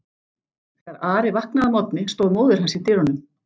Þegar Ari vaknaði að morgni stóð móðir hans í dyrunum.